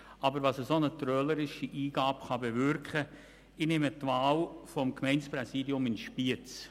Es geht um die Wahl des Gemeindepräsidiums in Spiez.